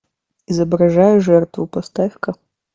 изображая жертву поставь ка